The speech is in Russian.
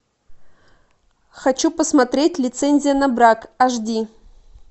хочу посмотреть лицензия на брак аш ди